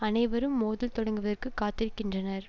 அனைவரும் மோதல் தொடங்குவதற்கு காத்திருக்கின்றனர்